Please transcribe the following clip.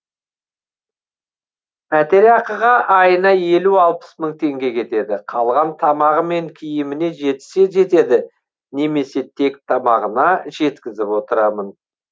пәтерақығы айына елу алпыс мың теңге кетеді қалған тамағы мен киіміне жетсе жетеді немесе тек тамағына жеткізіп отырамын